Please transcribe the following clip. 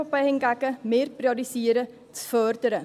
Wir von der EVP hingegen priorisieren das Fördern.